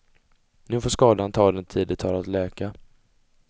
Nu får skadan ta den tid det tar att läka.